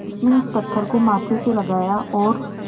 उसने उस पत्थर को माथे से लगाया और